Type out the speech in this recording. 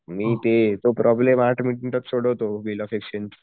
मी ते जो प्रॉब्लेम आठ मिनिटात सोडवतो बिल ऑफ एक्सचेंज चा